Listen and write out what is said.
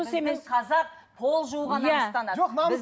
біздің қазақ пол жууға намыстанады